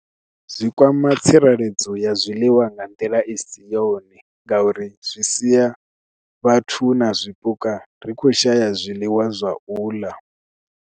Zwi kwama tsireledzo ya zwiḽiwa nga nḓila i si yone ngauri zwi siya vhathu na zwipuka ri khou shaya zwiḽiwa zwa u ḽa.